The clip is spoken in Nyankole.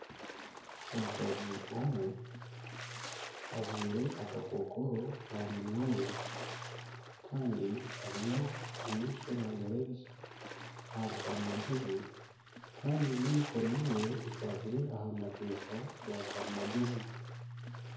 Omukazi omwe ajwaire akakokoro aha minwa ye kandi ariyo amaisho naagarebekyesa ahari karimagyezi kandi n'emikono ye eriyo ekwatsire aha mapesa ga karimagyezi